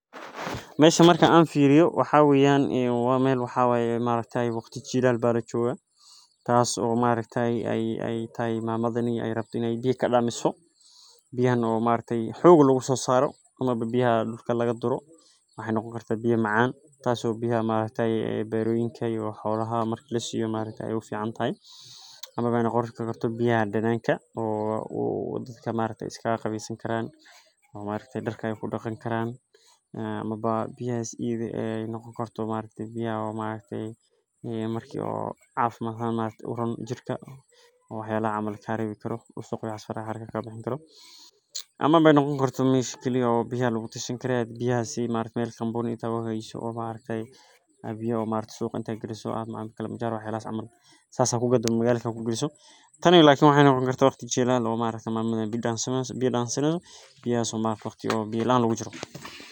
Meesho markaan aan fiiriyo waxaa weyaan in waan meel wixii ay maareytaa waqti jilaal baadajyada, taas oo maareytaay ay ay taay maamadanaya ay rab dhinay biyo ka dhacdo. Biyuhu maareyta xugu lagu soo saaro ama biyaha dhulka laga duro ma ahan noqon karta biyo macaan. Taasi oo biyo maareyta beroyinka iyo hawlaha mar kuleys iyo maareyta u fiican tahay. Ama noqoshada kartaa biyaha dhanaanka oo uu dadka maareyta iska qabiiso karaan. Oo maareyta dharkay ku dhaqan karaan ama biyaha si noqon karto maareyta biyo maareyta markii cabashada maalmo uun jirka, oo hayla camalka harawi karo. Ustoo ku yaala farxad harkay ka badan karo. Ama noqon kartaa miiskiisa biyaha loog tashan karay biyaha si maarey company itagga hayso. Oo maareyta biyo maareyso oo cinta geliyso. kilimanjaro wahayla aman saakso ku gudbiya kamid ah ku geliyso. Tan iyo ilaa waa haye noqon kartaa waqti jilaal oo maareyta maamula bidhaan samayso bidhaan sanaysan biyaha soomaa waqti biyo laan looga jiro.